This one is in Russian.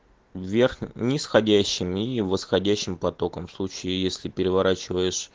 вверх нисходящим и восходящим потоком в случае если переворачиваешь